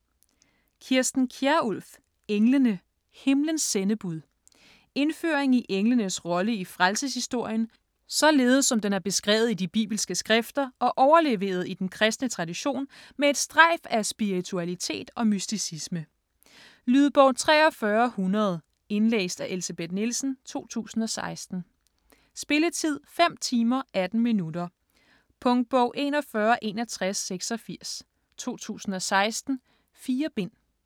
Kjærulff, Kirsten: Englene: himlens sendebud Indføring i englenes rolle i frelseshistorien, således som den er beskrevet i de bibelske skrifter og overleveret i den kristne tradition med et strejf af spiritualitet og mysticisme. Lydbog 43100 Indlæst af Elsebeth Nielsen, 2016. Spilletid: 5 timer, 18 minutter. Punktbog 416186 2016. 4 bind.